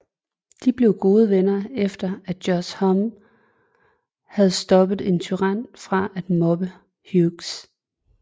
De blev gode venner efter at Josh Homme havde stoppet en tyran fra at mobbe Hughes